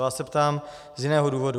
Vás se ptám z jiného důvodu.